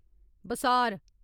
बसार